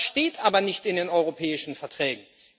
Das steht aber nicht in den Europäischen Verträgen.